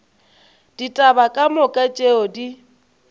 ditaba ka moka tšeo di